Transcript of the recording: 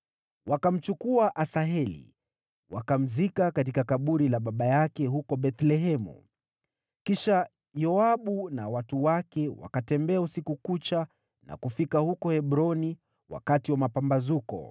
Wakamchukua Asaheli, wakamzika katika kaburi la baba yake huko Bethlehemu. Kisha Yoabu na watu wake wakatembea usiku kucha na kufika huko Hebroni wakati wa mapambazuko.